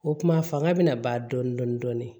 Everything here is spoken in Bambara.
O kuma fanga bɛna ban dɔɔni dɔɔni dɔɔni